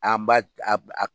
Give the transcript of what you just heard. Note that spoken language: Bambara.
An ba